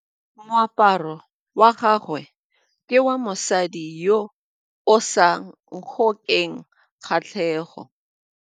Moaparô wa gagwe ke wa mosadi yo o sa ngôkeng kgatlhegô.